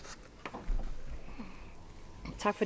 går